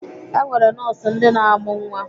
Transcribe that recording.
E nwere nọọsụ ndị na-amụ nwa.